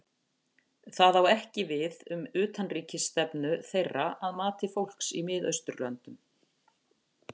Það á ekki við um utanríkisstefnu þeirra að mati fólks í Mið-Austurlöndum.